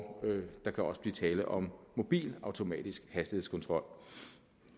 der kan også blive tale om mobil automatisk hastighedskontrol